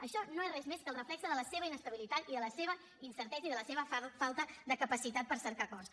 això no és res més que el reflex de la seva inestabilitat i de la seva incertesa i de la seva falta de capacitat per cercar acords